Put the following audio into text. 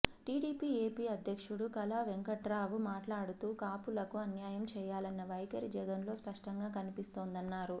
TDP AP అధ్యక్షుడు కళా వెంకట్రావు మాట్లాడుతూ కాపులకు అన్యాయం చేయాలన్న వైఖరి జగన్లో స్పష్టంగా కనిపిస్తోందన్నారు